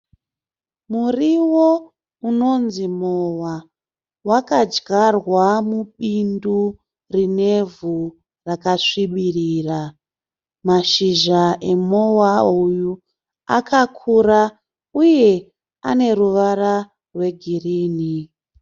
Muriwo unonzi mowa wakadyarwa mubindu rinevhu rakasvibirira. Mashizha emowa uyu akakura uye aneruvara rwegirini.